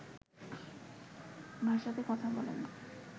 ভাষাতে কথা বলেন